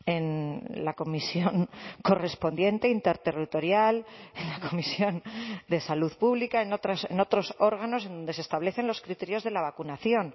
en la comisión correspondiente interterritorial en la comisión de salud pública en otros órganos en donde se establecen los criterios de la vacunación